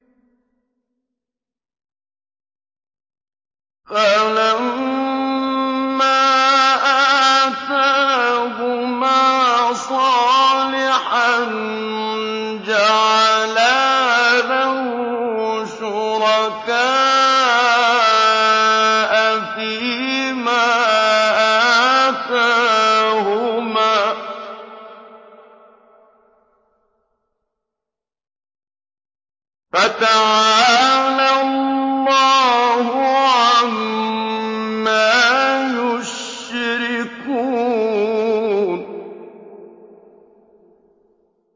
فَلَمَّا آتَاهُمَا صَالِحًا جَعَلَا لَهُ شُرَكَاءَ فِيمَا آتَاهُمَا ۚ فَتَعَالَى اللَّهُ عَمَّا يُشْرِكُونَ